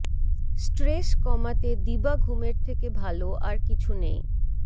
stress কমাতে দিবা ঘুমের থেকে ভালো আর কিছু নেই